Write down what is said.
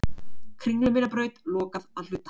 Kringlumýrarbraut lokað að hluta